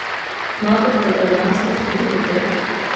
Znate po italijansko šteti do pet?